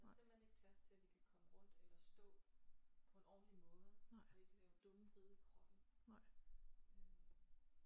Der er simpelthen ikke plads til at vi kan komme rundt eller stå på en ordentlig måde vi kan lave dumme vrid i kroppen øh